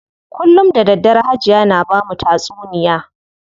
Kullum da daddare Hajiya na bamu tatsuniya.